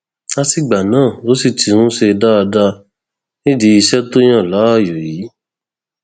látìgbà náà ló sì ti ń ṣe dáadáa nídìí iṣẹ tó yàn láàyò yìí